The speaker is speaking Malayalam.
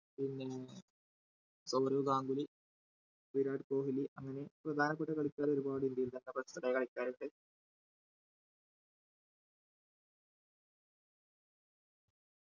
പിന്നേ സൗരവ് ഗാംഗുലി വിരാട് കൊഹ്‌ലി അങ്ങനെ പ്രധാനപ്പെട്ട കളിക്കാർ ഒരുപാട് ഇന്ത്യയിൽ തന്നെ best റായ കളിക്കാറുണ്ട്